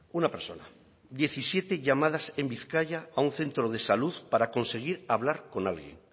una persona diecisiete llamadas en bizkaia a un centro de salud para conseguir hablar con alguien